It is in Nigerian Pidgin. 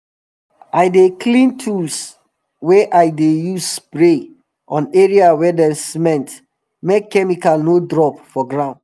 i dey clean tools wey i dey use spray on area wey dem cement make chemical no drop for ground